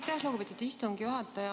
Aitäh, lugupeetud istungi juhataja!